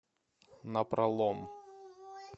напролом